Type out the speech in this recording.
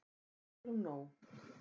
Við eigum nóg.